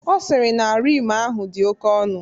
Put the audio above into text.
Ọ sịrị na Rim ahụ dị oke ọnụ.